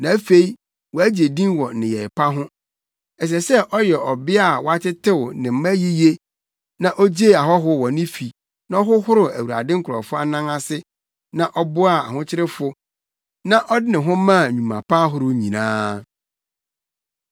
na afei wagye din wɔ nneyɛe pa ho. Ɛsɛ sɛ ɔyɛ ɔbea a watetew ne mma yiye na ogyee ahɔho wɔ ne fi na ɔhohoroo Awurade nkurɔfo anan ase na ɔboaa ahokyerefo na ɔde ne ho maa nnwuma pa ahorow nyinaa.